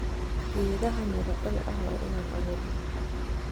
Geedhaha mira dhal eh wa inan aaburna.